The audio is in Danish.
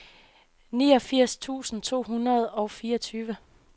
niogfirs tusind to hundrede og fireogtyve